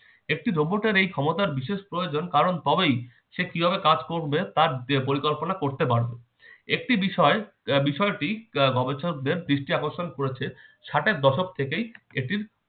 একটি দ্রব্য তার এই ক্ষমতার বিশেষ প্রয়োজন কারণ তবেই সে কিভাবে কাজ করবে তার পরিকল্পনা করতে পারবে। একটি বিষয় আহ বিষয়টি আহ গবেষকদের দৃষ্টি আকর্ষণ করেছে। ষাটের দশক থেকেই এটির